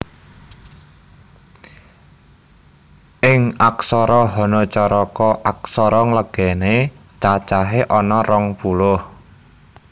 Ing aksara Hanacaraka aksara nglegena cacahé ana rong puluh